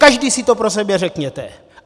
Každý si to pro sebe řekněte!